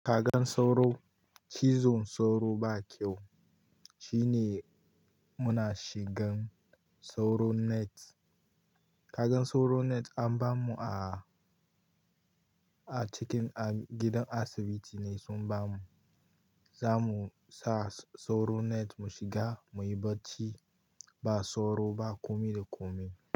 Kagan sauro, cizon sauro ba kyau. Shine muna shigan sauro net. Kagan sauro net an bamu a, a cikin, a gidan asibiti ne sun bamu. Za mu sa sauro net mu shiga, muyi bacci ba sauro, ba komi da komi.